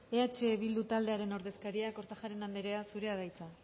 eh bildu taldearen ordezkaria kortajarena andrea zurea da hitza